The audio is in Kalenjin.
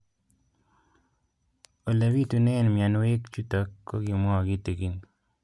Ole pitune mionwek chutok ko kimwau kitig'ín